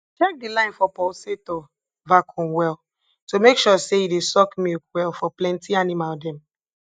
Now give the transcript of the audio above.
check de line for pulsator vacuum well to make sure say e dey suck milk well for plenty animal dem